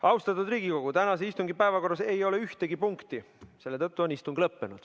Austatud Riigikogu, tänase istungi päevakorras ei ole ühtegi punkti, seetõttu on istung lõppenud.